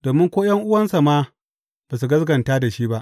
Domin ko ’yan’uwansa ma ba su gaskata da shi ba.